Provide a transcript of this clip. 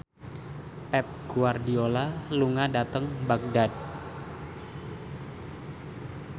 Pep Guardiola lunga dhateng Baghdad